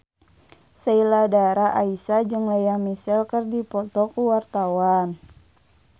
Sheila Dara Aisha jeung Lea Michele keur dipoto ku wartawan